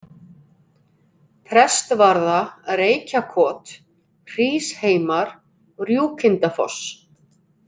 Prestsvarða, Reykjakot, Hrísheimar, Rjúkindafoss